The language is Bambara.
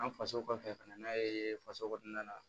An faso kɔfɛ ka na n'a ye faso kɔnɔna na